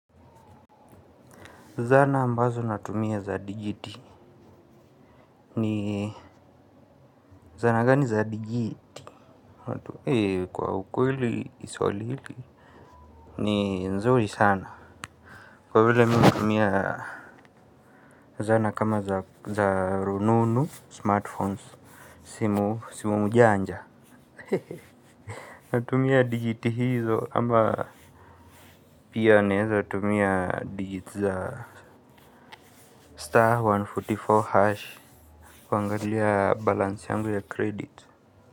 Zana ambazo natumia za digiti ni zana gani za digi kwa ukweli swali hili ni nzuri sana kwa vile mimi hutumia zana kama za rununu smartphones simu mjanja. Natumia dijiti hizo ama pia naweza tumia digits za star mia moja na arobaini na nne hash kuangalia balance yangu ya credit.